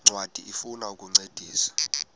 ncwadi ifuna ukukuncedisa